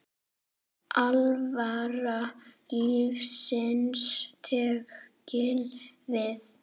Alvara lífsins tekin við.